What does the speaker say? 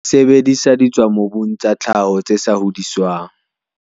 Sebedisa ditswamobung tsa tlhaho, tse sa hodiswang.